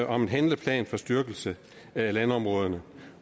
om en handleplan for styrkelse af landområderne